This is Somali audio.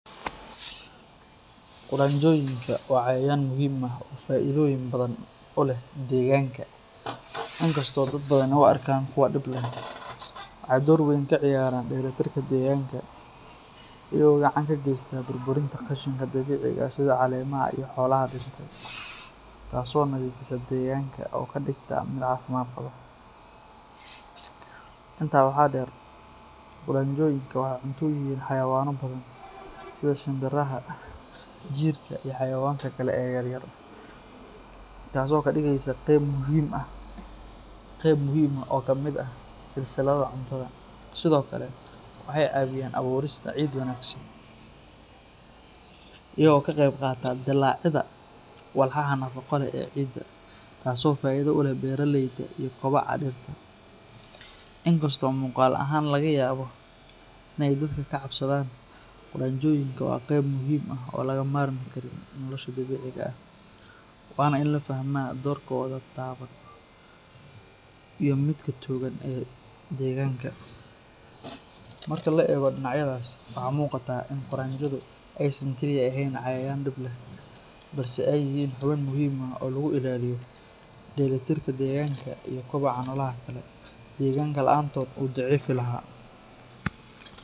Qudanjooyinka waa cayayaan muhiim ah oo faa’iidooyin badan u leh deegaanka, inkastoo dad badani u arkaan kuwo dhib leh. Waxay door weyn ka ciyaaraan dheelitirka deegaanka, iyagoo gacan ka geysta burburinta qashinka dabiiciga ah sida caleemaha iyo xoolaha dhintay, taasoo nadiifisa deegaanka oo ka dhigta mid caafimaad qaba. Intaa waxaa dheer, qudanjooyinka waxay cunto u yihiin xayawaano badan sida shimbiraha, jiirka, iyo xayawaanka kale ee yaryar, taasoo ka dhigaysa qayb muhiim ah oo ka mid ah silsiladda cuntada. Sidoo kale, waxay caawiyaan abuurista ciid wanaagsan, iyagoo ka qeyb qaata dillaacidda walxaha nafaqo leh ee ciidda, taasoo faa’iido u leh beeraleyda iyo kobaca dhirta. Inkastoo muuqaal ahaan laga yaabo inay dadka ka cabsadaan, qudanjooyinka waa qayb muhiim ah oo aan laga maarmi karin nolosha dabiiciga ah, waana in la fahmaa doorkooda taban iyo midka togan ee deegaanka. Marka la eego dhinacyadaas, waxaa muuqata in qudanjooyinku aysan kaliya ahayn cayayaan dhib leh, balse ay yihiin xubin muhiim ah oo lagu ilaaliyo dheelitirka deegaanka iyo koboca noolaha kale. Deegaanka la’aantood wuu daciifi lahaa.